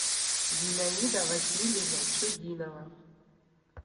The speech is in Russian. зинаида васильевна чудинова